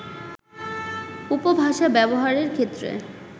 উপভাষা ব্যবহারের ক্ষেত্রে